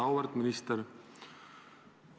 Auväärt minister!